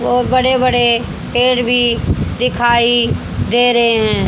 और बड़े बड़े पेड़ भी दिखाई दे रहे हैं।